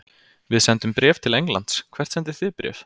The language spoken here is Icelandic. Við sendum bréf til Englands. Hvert sendið þið bréf?